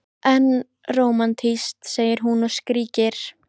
Fólkið var með tvo klyfjahesta og tjaldið góða meðferðis.